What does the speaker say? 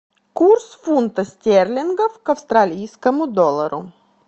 курс фунта стерлингов к австралийскому доллару